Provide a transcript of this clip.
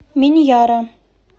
миньяра